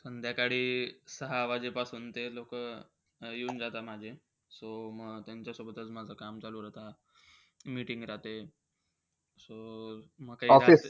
संध्याकाळी सहा वाजेपासून ते लोक येऊन जाता माझे. So म त्यांच्या सोबतचं माझं काम चालू राहतं. meeting राहते. so म